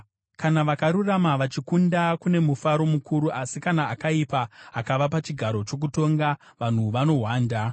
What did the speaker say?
Kana vakarurama vachikunda, kune mufaro mukuru; asi kana akaipa akava pachigaro chokutonga, vanhu vanohwanda.